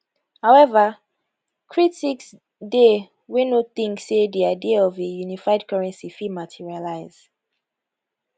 however critics dey wey no think say di idea of a unified currency fit materialise